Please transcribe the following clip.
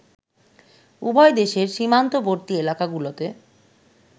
উভয় দেশের সীমান্তবর্তী এলাকাগুলোতে